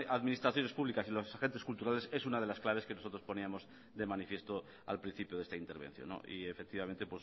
administraciones públicas y los agentes culturales es una de las claves que nosotros poníamos de manifiesto al principio de esta intervención y efectivamente